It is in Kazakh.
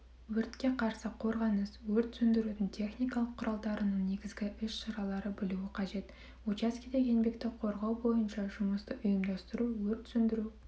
өртке қарсы қорғаныс өрт сөндірудің техникалық құралдарының негізгі іс-шаралары білуі қажет учаскеде еңбекті қорғау бойынша жұмысты ұйымдастыру өрт сөндіру